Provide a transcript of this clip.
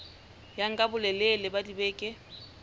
ya nka bolelele ba dibeke